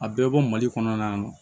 A bɛɛ bɔ mali kɔnɔ yan nɔ